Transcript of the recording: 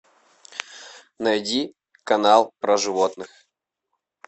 найди канал про животных